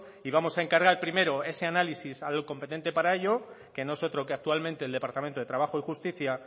y vamos a encargar primero ese análisis al competente para ello que no es otro que actualmente el departamento de trabajo y justicia